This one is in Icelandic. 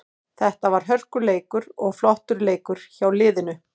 Þetta var hörkuleikur og flottur leikur hjá liðinu.